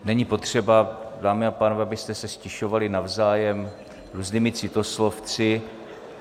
Není potřeba, dámy a pánové, abyste se ztišovali navzájem různými citoslovci.